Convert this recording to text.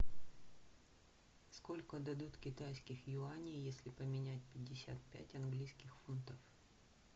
сколько дадут китайских юаней если поменять пятьдесят пять английских фунтов